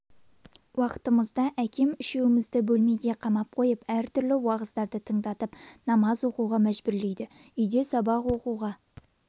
уакытымызда әкем үшеумізді бөлмеге қамап қойып әртүрлі уағыздарды тыңдатып намаз оқуға мәжбүрлейді үйде сабақ оқуға